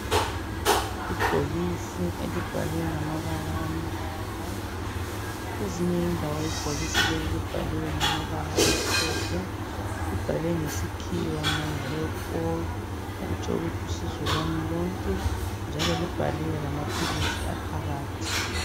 Ibhokisi elibhalwe ngamabala amnyama kwezinye indawo ibhokisi leli libhaliwe ngamabala amhlophe, libhalwe ngesikhiwa ukuthi My hep All okutsho ukuthi usizo lwani lonke njalo libhaliwe lamaphilisi aphakathi.